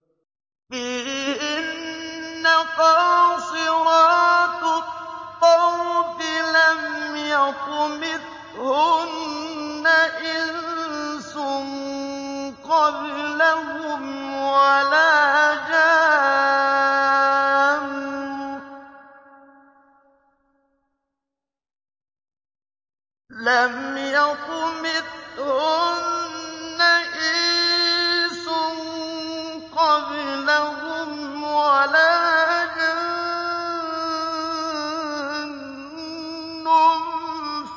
فِيهِنَّ قَاصِرَاتُ الطَّرْفِ لَمْ يَطْمِثْهُنَّ إِنسٌ قَبْلَهُمْ وَلَا جَانٌّ